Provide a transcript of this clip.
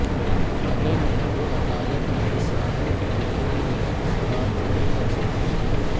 अगर नहीं तो अदालत में किसानों के वकील यह सवाल खड़ा कर सकते हैं